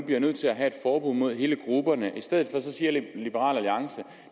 bliver nødt til at have forbud mod hele gruppen i stedet for siger liberal alliance